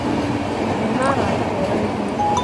Kũgĩa na arata ega nĩ hinya